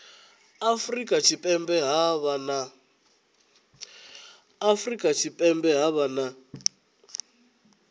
afurika tshipembe ha vha na